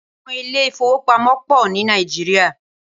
Awòn ilé ifówópámò pò ni Nàijiriá